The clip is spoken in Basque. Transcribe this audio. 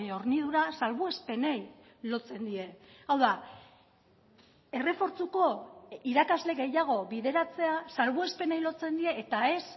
hornidura salbuespenei lotzen die hau da errefortzuko irakasle gehiago bideratzea salbuespenei lotzen die eta ez